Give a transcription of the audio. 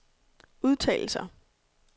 udtalelser